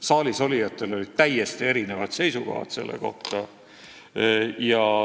Saalis olijatel olid täiesti erinevad seisukohad.